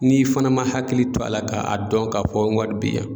N'i fana ma hakili to a la k'a dɔn k'a fɔ n ga wari be yan